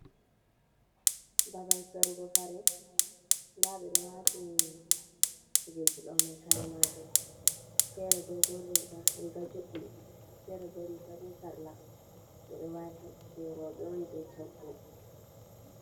Babal sarugo kare. Nda ɓe ɗo wati ni kujeji ɗo mai kare majum. Fere dogon riga, riga juɗɗi fere bo riga be sarla, ɓe ɗo wati jei rowɓe on je coggu.